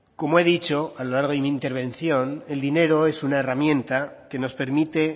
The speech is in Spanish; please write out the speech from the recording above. como he dicho a lo largo de mi intervención el dinero es una herramienta que nos permite